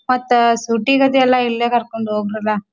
ಮತ್ತೆ ಶೂಟಿಂಗದಲ್ಲ ಇಲ್ಲೇ ಕರ್ಕೊಂಡ್ ಹೋಗ್ರಲಾ.